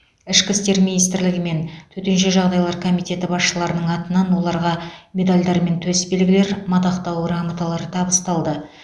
ішкі істер министрлігі мен төтенше жағдайлар комитеті басшыларының атынан оларға медальдар мен төсбелгілер мадақтау грамоталары табысталды